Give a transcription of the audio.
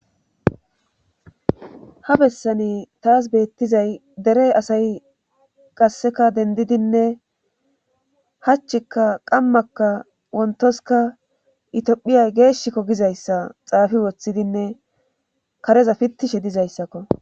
ha bessani taas beettizay derey asay qasseka dendidinne hachikka qammakka wontoska itiophiyay geeshikko gizayssa xaafi woththidinne kareza pittishe dizayssakko